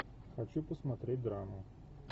хочу посмотреть драму